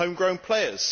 Home grown players